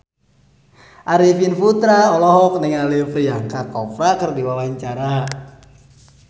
Arifin Putra olohok ningali Priyanka Chopra keur diwawancara